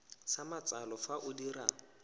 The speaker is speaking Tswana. sa matsalo fa o dira